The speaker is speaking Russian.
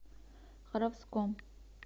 харовском